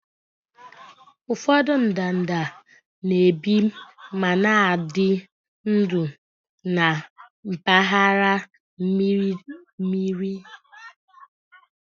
Ụfọdụ ndanda na-ebi ma na-adị ndụ na mpaghara mmiri mmiri